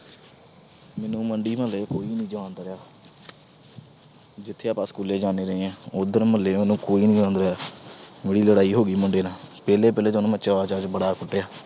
ਮੈਨੂੰ ਮੰਡੀ, ਮੁਹੱਲੇ ਵਿੱਚ ਕੋਈ ਨੀ ਜਾਣਦਾ ਰਿਹਾ। ਜਿਧਰ ਆਪਾ school ਜਾਂਦੇ ਰਹੇ ਆ, ਉਥੇ ਮੁਹੱਲੇ ਵੱਲ ਕੋਈ ਨੀ ਲੰਘਦਾ। ਮੇਰੀ ਲੜਾਈ ਹੋ ਗਈ ਮੁੰਡੇ ਨਾਲ, ਪਹਿਲੇ ਪਹਿਲੇ ਤਾਂ ਮੈਂ ਚਾਅ ਚਾਅ ਚ ਉਹਨੂੰ ਬੜਾ ਕੁੱਟਿਆ।